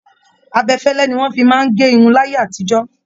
Abẹfẹ́lẹ́ ní wọn fí máa n gé irun láyé àtijọ́.